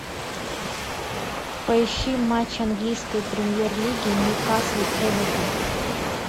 поищи матч английской премьер лиги ньюкасл эвертон